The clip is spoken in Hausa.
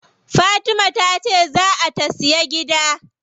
Fatima tace zaa ta siya gida.